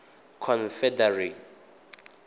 confederacy